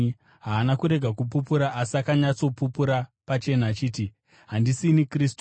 Haana kurega kupupura, asi akanyatsopupura pachena achiti, “Handisini Kristu.”